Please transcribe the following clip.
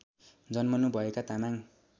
जन्मनु भएका तामाङ